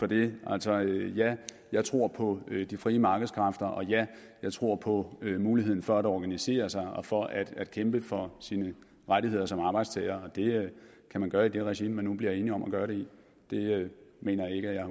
for det altså ja jeg tror på de frie markedskræfter og ja jeg tror på muligheden for at organisere sig og for at at kæmpe for sine rettigheder som arbejdstager og det kan man gøre i det regi man nu bliver enige om at gøre det i det mener jeg ikke at